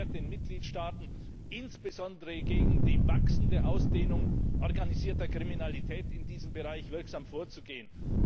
Sie erschwert den Mitgliedstaaten, insbesondere gegen die wachsende Ausdehnung organisierter Kriminalität in diesem Bereich wirksam vorzugehen.